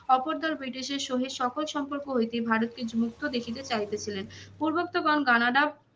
অপর দল ব্রিটিশের সহিত সকল সম্পর্ক হইতে ভারতকে মুক্ত দেখিতে চাইতে ছিলেন। পূর্বোক্ত গণ কানাডা